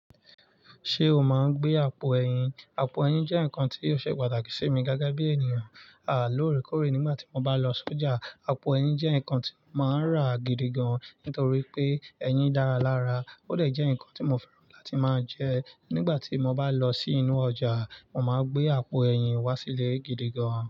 Ṣé o máa ń gbé àpò ẹ̀yin? Àpò ẹ̀yin jẹ́ nǹkan tí ó ṣe pàtàkì sí mi gege bí ènìyàn. À lóòrèkóòrè nígbà tí mo bá lọ sójà. Àpò ẹ̀yin jẹ́ nǹkan tí mo máa ń rà gidi gan-an nítorí pé ẹyin dára lára. Ó dẹ̀ jẹ́ nǹkan tí mo fẹ́ràn láti máa jẹ. Nígbà tí mo bá lọ sí inú ọjà, mo máa gbé àpò ẹyin wá sílé gidi gan-an.